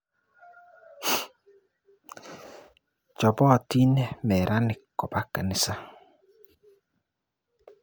Chopotin meranik kopa kanisa.